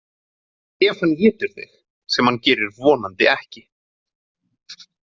Ef hann étur þig sem hann gerir vonandi ekki.